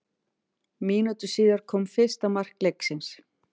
Mínútu síðar kom fyrsta mark leiksins.